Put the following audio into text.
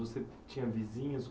Você tinha vizinhos?